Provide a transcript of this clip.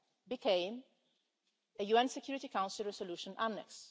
became a UN Security Council resolution annex.